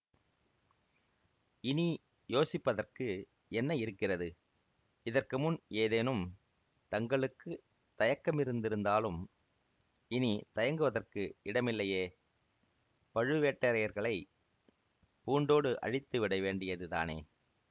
இனி யோசிப்பதற்கு என்ன இருக்கிறது இதற்கு முன் ஏதேனும் தங்களுக்கு தயக்கமிருந்திருந்தாலும் இனி தயங்குவதற்கு இடமில்லையே பழுவேட்டரையர்களைப் பூண்டோடு அழித்து விடவேண்டியது தானே